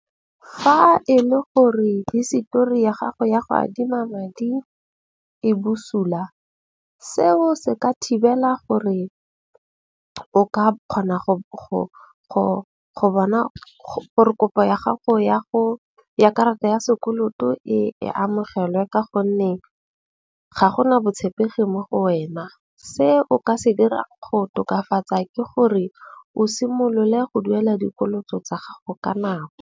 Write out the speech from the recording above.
Fa e le gore hisetori ya gago ya go adima madi e busula, seo se ka thibela gore o ka kgona go bona gore kopo ya gago ya go, ya karata ya sekoloto e amogelwe. Ka gonne ga gona botshepegi mo go wena. Se o ka se dira go tokafatsa ke gore o simolole go duela dikoloto tsa gago ka nako.